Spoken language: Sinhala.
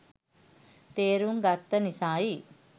තේරුම් ගත්ත නිසායි.